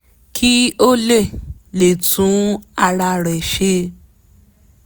kí ó lè lè tún ara rẹ̀ ṣe